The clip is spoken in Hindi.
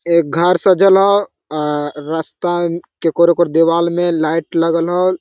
एज घर सजल हो अ रास्ता के ओकर दीवाल मे लाइट लगल हो।